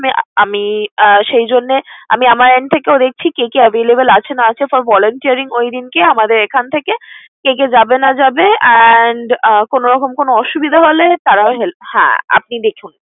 আমি আমি আহ সেইজন্যে আমি আমার end থেকেও দেখছি কে কে available আছে না আছে। For volunteering ওইদিনকে আমাদের এখান থেকে কে কে যাবে, না যাবে and আহ কোন রকম কোন অসুবিধা হলে তারা help হ্যাঁ আপনি দেখুন।